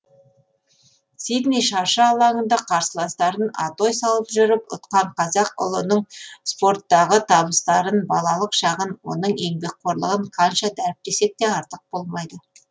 сидней шаршы алаңында қарсыластарын атой салып жүріп ұтқан қазақ ұлының спорттағы табыстарын балалық шағын оның еңбекқорлығын қанша дәріптесек те артық болмайды